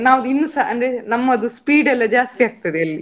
ನಾವು ಇನ್ನುಸ ಅಂದ್ರೆ ನಮ್ಮದು speed ಎಲ್ಲಾ ಜಾಸ್ತಿ ಆಗ್ತದೆ ಅಲ್ಲಿ.